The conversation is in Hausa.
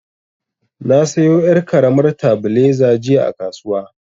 Na sayo yar' karamar tabileza jiya a kasuwa.